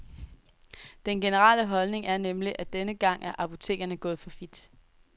Den generelle holdning er nemlig, at denne gang er apotekerne gået for vidt.